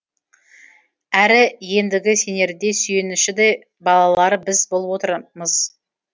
әрі ендігі сенеріде сүйеніші де балалары біз болып отырмыз